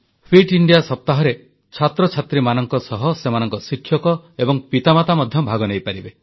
fit India ସପ୍ତାହରେ ଛାତ୍ରଛାତ୍ରୀଙ୍କ ସହ ସେମାନଙ୍କ ଶିକ୍ଷକ ଏବଂ ପିତାମାତା ମଧ୍ୟ ଭାଗ ନେଇପାରିବେ